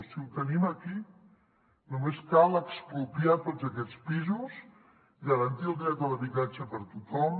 si ho tenim aquí només cal expropiar tots aquests pisos garantir el dret a l’habitatge per a tothom